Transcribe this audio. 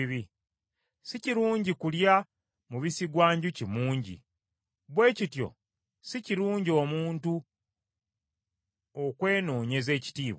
Si kirungi kulya mubisi gwa njuki mungi, bwe kityo si kirungi omuntu okwenoonyeza ekitiibwa.